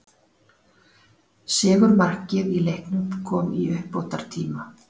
Sigurmarkið í leiknum kom í uppbótartíma.